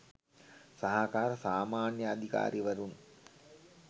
සහකාර සාමාන්‍යාධිකාරීවරුන්